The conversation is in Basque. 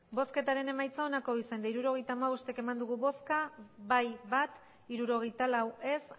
hirurogeita hamabost eman dugu bozka bat bai hirurogeita lau ez